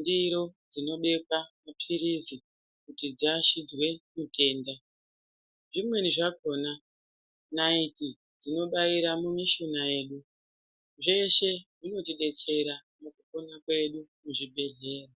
ndiro dzinobeka mapirizi kuti dzirachidze mitenda, zvimeni dzakona nareti dzinobayira mumishina yedu. Zveshe zvinotidetsera mukupona kwedu muzvi bhedhlera.